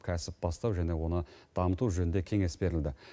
кәсіп бастау және оны дамыту жөнінде кеңес берілді